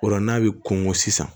O la n'a bɛ kɔnkɔ sisan